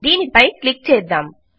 దీనిపై క్లిక్ చేద్దాం